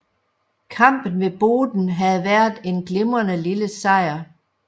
Kampen ved Boden havde været en glimrende lille sejr